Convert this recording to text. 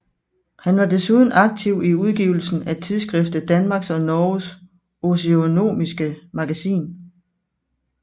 Han var desuden aktiv i udgivelsen af tidsskriftet Danmarks og Norges Oeconomiske Magazin